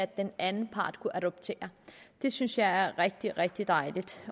den anden part kunne adoptere det synes jeg er rigtig rigtig dejligt